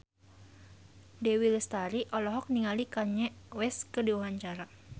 Dewi Lestari olohok ningali Kanye West keur diwawancara